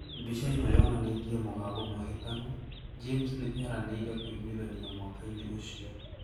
Mbica ĩno yonanĩtie mũgambo mũhĩtanu, James nĩ eranĩire kũiguithania Mwaka-inĩ ũcio,